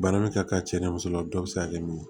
Bana min ka kan cɛ ni musola dɔ bi se ka kɛ mun ye